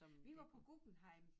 Vi var på Guggenheim